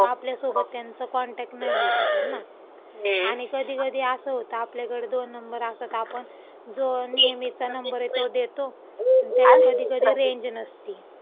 आपल्यासोबत त्यांचा कॉनटॅक्ट नाही होऊ शकत ना. आणि कधी कधी असं होतं, आपल्याकडं दोन नंबर असतात. आपण जो नेहमीचा नंबर आहे, तो देतो. आणि त्याला कधी कधी रेंज नसती.